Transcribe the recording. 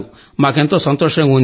మాకెంతో సంతోషంగా ఉంది